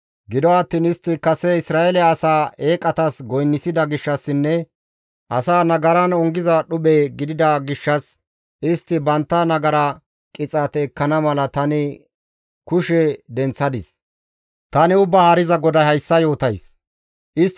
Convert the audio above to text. Gido attiin istti kase Isra7eele asaa eeqatas goynisida gishshassinne asaa nagaran ongiza dhuphe gidida gishshas, istti bantta nagara qixaate ekkana mala tani kushe denththada caaqqadis. Tani Ubbaa Haariza GODAY hayssa yootays.